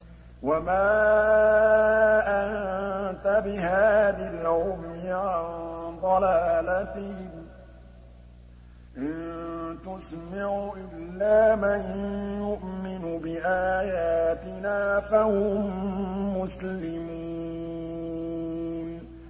وَمَا أَنتَ بِهَادِي الْعُمْيِ عَن ضَلَالَتِهِمْ ۖ إِن تُسْمِعُ إِلَّا مَن يُؤْمِنُ بِآيَاتِنَا فَهُم مُّسْلِمُونَ